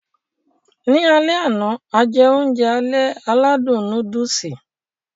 Ní alẹ àná, a jẹ oúnjẹ alẹ́ aládùn núdùùsì.